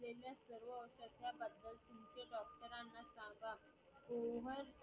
किंवा